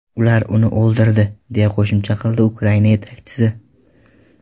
Ular uni o‘ldirdi”, deya qo‘shimcha qildi Ukraina yetakchisi.